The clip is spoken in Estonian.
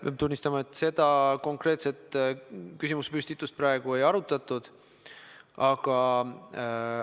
Pean tunnistama, et seda konkreetset küsimusepüstitust praegu ei arutatud.